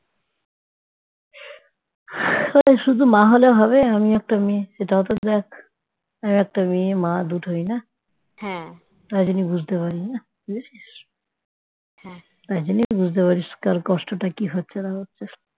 শুধু মা হলে হবে আমিও একটা মেয়ে সেটাও তো দেখ, আরেকটা মেয়ে মা দুটোই না তাই জন্যই বুঝতে পারি না? বুঝেছিস তার জন্যই বুঝতে পারি কার কষ্টটা কি হচ্ছে না হচ্ছে